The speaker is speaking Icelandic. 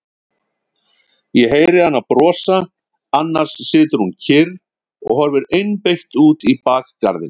Ég heyri hana brosa, annars situr hún kyrr og horfir einbeitt út í bakgarðinn.